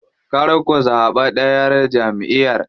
Kar ku zaɓi ɗayar jamʼiyar.